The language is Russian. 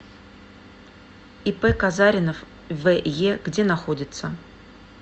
ип казаринов ве где находится